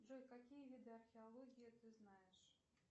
джой какие виды археологии ты знаешь